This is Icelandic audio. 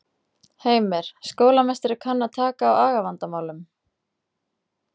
Heimir: Skólameistari kann að taka á agavandamálum?